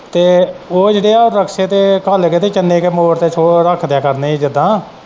ਤੇ ਉਹ ਜਿਹੜੇ ਹੈ ਉਹ ਬਖਸੇ ਤੇ ਘੱਲ ਕੇ ਤੇ ਚੰਨੇ ਦੇ ਮੋੜ ਤੇ ਰੱਖ ਦਿਆ ਕਰਨੇ ਹੀ ਜਿੱਦਾਂ।